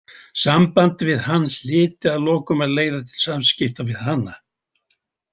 Samband við hann hlyti að lokum að leiða til samskipta við hana.